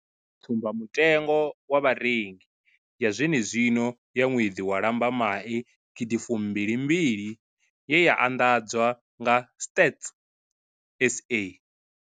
Tsumba mutengo wa Vharengi ya zwene zwino ya ṅwedzi wa Lambamai gidi fumbili mbili ye ya anḓadzwa nga Stats SA.